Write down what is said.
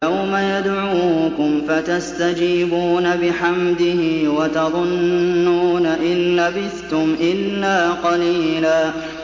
يَوْمَ يَدْعُوكُمْ فَتَسْتَجِيبُونَ بِحَمْدِهِ وَتَظُنُّونَ إِن لَّبِثْتُمْ إِلَّا قَلِيلًا